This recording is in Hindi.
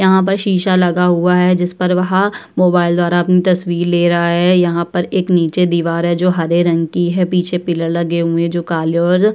यहाँ पर शीशा लगा हुआ है। जिस पर वह मोबाइल द्वारा अपनी तस्वीर ले रहा है। यहाँ पर एक नीचे दीवार है जो हरे रंग की है पीछे पिलर लगे हुए जो काले और --